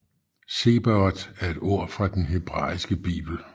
Zebaot er et ord fra den hebraiske bibel